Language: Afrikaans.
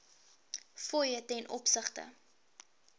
fooie ten opsigte